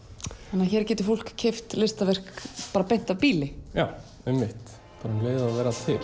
þannig að hér getur fólk keypt listaverk bara beint af býli já einmitt bara um leið og þau verða til